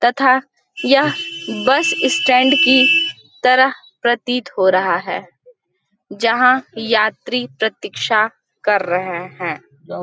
तथा यह bus stand की तरह प्रतीत हो रहा है जहां यात्री प्रतीक्षा कर रहे हैं।